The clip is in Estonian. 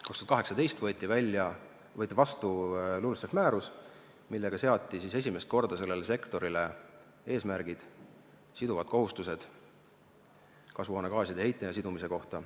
2018. aastal võeti vastu LULUCF-i määrus, millega seati esimest korda sellele sektorile eesmärgid, siduvad kohustused kasvuhoonegaaside heite ja sidumise kohta.